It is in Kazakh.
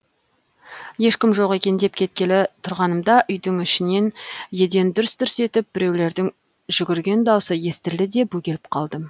ешкім жоқ екен деп кеткелі тұрғанымда үйдің ішінен еден дүрс дүрс етіп біреулердің жүгірген даусы естілді де бөгеліп қалдым